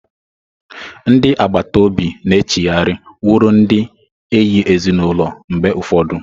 Ndị agbata obi na-echigharị wụrụ ndị enyi ezinụlọ mgbe ụfọdụ.